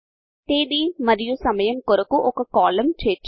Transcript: తేదీ మరియు సమయము కొరకు ఒక కాలం చేర్చండి